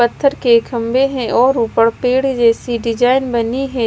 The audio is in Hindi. पत्थर के खंभे हैं और ऊपर पेड़ जैसी डिजाइन बनी है।